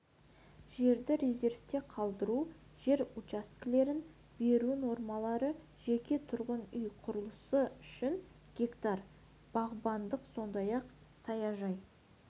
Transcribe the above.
жерді резервте қалдыру жер учаскелерін беру нормалары жеке тұрғын үй құрылысы үшін гектар бағбандық сондай-ақ саяжай